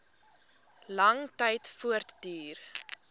lang tyd voortduur